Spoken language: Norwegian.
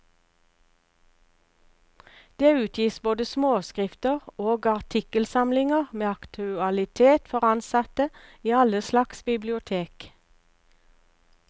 Det utgis både småskrifter og artikkelsamlinger med aktualitet for ansatte i alle slags bibliotek.